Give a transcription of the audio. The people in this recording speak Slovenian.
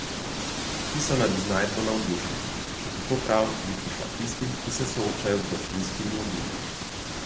Ti so nad iznajdbo navdušeni, še kako prav pa bi prišla tistim, ki se soočajo z vročinskimi oblivi.